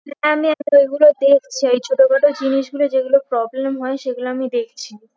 হ্যাঁ আমি ঐগুলো দেখছি ওই ছোটোখাটো জিনিসগুলোই যেগুলো problem হয় সেগুলো আমি দেখছি